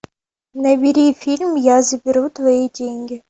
набери фильм я заберу твои деньги